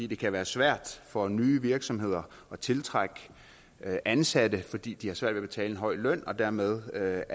det kan være svært for nye virksomheder at tiltrække ansatte fordi de har svært ved at betale en høj løn og dermed er